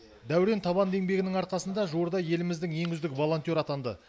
дәурен табанды еңбегінің арқасында жуырда еліміздің ең үздік волонтері атанды